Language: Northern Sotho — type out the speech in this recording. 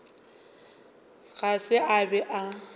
ga se a be a